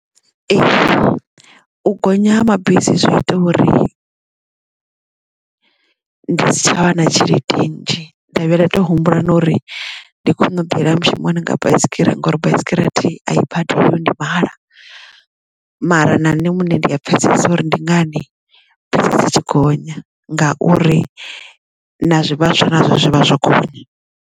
Ee u gonya ha mabisi zwi ita uri ndi si tshavha na tshelede nnzhi ndavhuya ndato humbula na uri ndi kone u ḓi yela mushumoni nga baisigira ngori baisigira a thiri ai badeliwi ndi mahala mara na nṋe muṋe ndi pfesesa uri ndi ngani bisi dzitshi gonya ngauri na zwivhaswa nazwo zwivha zwo gonya.